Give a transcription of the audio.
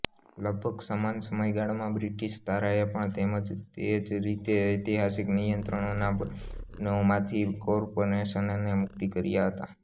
લગભગ સમાન સમયગાળામાં બ્રિટીશ ધારાએ પણ તેજ રીતે ઐતિહાસિક નિયંત્રણોના બંધનોમાથી કોર્પોરેશનોને મુક્ત કર્યા હતા